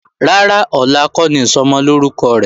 Rárá, ọ̀la kọ́ ni Ìsọmọlórúkọ rẹ̀.